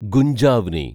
ഗുഞ്ജാവ്നി